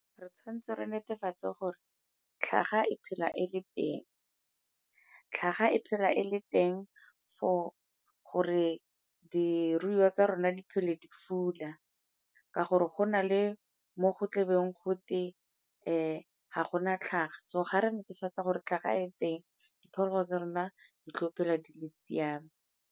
Re tshwanetse re netefatse gore tlhaga e phela e le teng. Tlhaga e phela e le teng for gore diruiwa tsa rona di phele di fula, ka gore go na le mo go tle beng gote ga gona tlhaga so ga re netefatsa gore tlhaga e teng diphologolo tsa rona di tlo phela di le siame.